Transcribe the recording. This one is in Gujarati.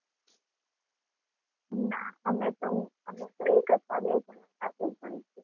ના અમે તો અમે તો એક અથવા બે જણા સાથે જ વાંચીએ.